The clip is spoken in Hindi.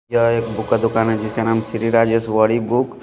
यह एक बुक का दुकान है जिसका नाम श्री राजेश वारी बुक --